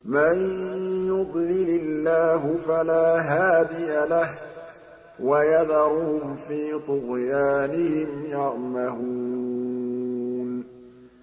مَن يُضْلِلِ اللَّهُ فَلَا هَادِيَ لَهُ ۚ وَيَذَرُهُمْ فِي طُغْيَانِهِمْ يَعْمَهُونَ